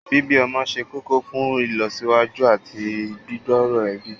Bíbí ọmọ ṣe kókó fún ìlọsíwájú àti gbígbòòrò ẹbí